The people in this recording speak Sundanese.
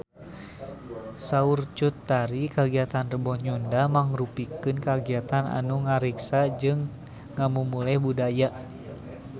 Saur Cut Tari kagiatan Rebo Nyunda mangrupikeun kagiatan anu ngariksa jeung ngamumule budaya Sunda